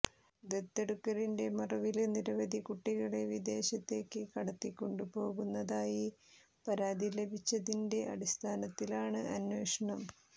ദത്തെടുക്കലിന്റെ മറവില് നിരവധി കുട്ടികളെ വിദേശത്തേയ്ക്ക് കടത്തിക്കൊണ്ടുപോകുന്നതായി പരാതി ലഭിച്ചതിന്റെ അടിസ്ഥാനത്തിലാണ് അന്വേഷണം